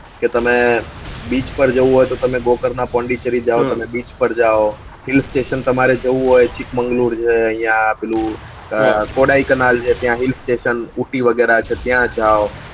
કે તને beech પર જાવ હોય તો તમે માં પોન્ડિચેરીજાવ beech પર જાવ hill station તમારે જાવ હોય ચીક્મ્ગ્લુર છે આયા પેલું અમ ત્યાં hill stationuti વગેરા છે ત્યાં જાવ